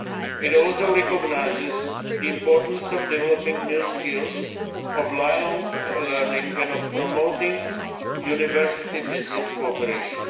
policy. It also recognises the importance of developing new skills, of lifelong learning and of promoting university business cooperation.